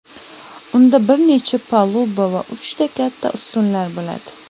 unda bir necha paluba va uchta katta ustunlar bo‘ladi.